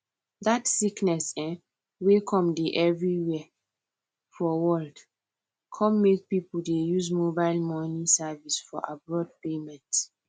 dat sickness um wey come dey every where for world come make pipo dey use mobile moni service for abroad payment